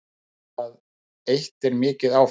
Það eitt er mikið áfall